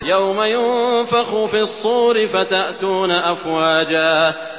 يَوْمَ يُنفَخُ فِي الصُّورِ فَتَأْتُونَ أَفْوَاجًا